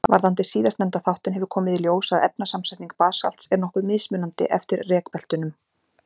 Varðandi síðastnefnda þáttinn hefur komið í ljós að efnasamsetning basalts er nokkuð mismunandi eftir rekbeltunum.